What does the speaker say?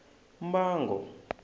mbango